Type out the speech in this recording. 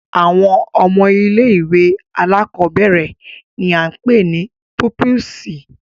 Awọn ọmọ ìlé-ìwé àlàkọbẹrẹ ni a pe ni pupisi.